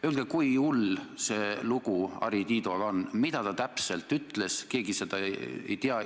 Öelge, kui hull lugu Harri Tiidoga on, mida ta täpselt ütles – keegi seda ei tea.